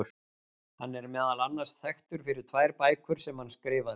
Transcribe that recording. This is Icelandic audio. Hann er meðal annars þekktur fyrir tvær bækur sem hann skrifaði.